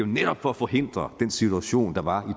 netop for at forhindre den situation der var